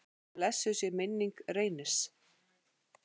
Blessuð sé minning Reynis.